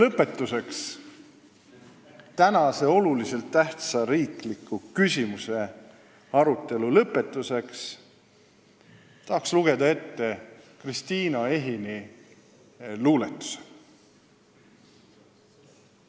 Ma tahan tänase olulise tähtsusega riikliku küsimuse arutelu lõpetuseks lugeda ette Kristiina Ehini luuletuse.